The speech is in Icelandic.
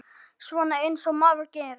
Svona eins og maður gerir.